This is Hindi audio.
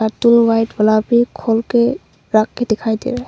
टू वाइट गुलाबी खोल के रख के दिखाई दे रहा है।